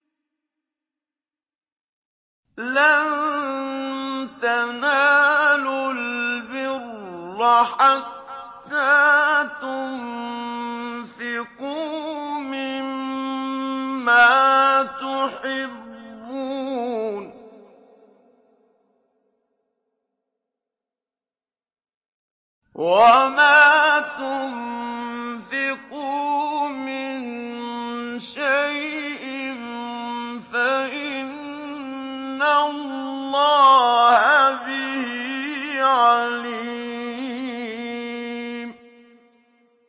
لَن تَنَالُوا الْبِرَّ حَتَّىٰ تُنفِقُوا مِمَّا تُحِبُّونَ ۚ وَمَا تُنفِقُوا مِن شَيْءٍ فَإِنَّ اللَّهَ بِهِ عَلِيمٌ